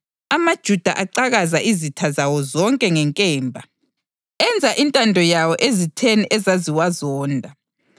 AmaJuda acakaza izitha zawo zonke ngenkemba, enza intando yawo ezitheni ezaziwazonda.